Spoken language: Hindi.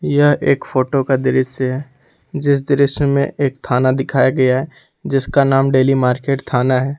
यह एक फोटो का दृश्य है जीस दृश्य में एक थाना दिखाया गया है जिसका नाम डेली मार्केट थाना है।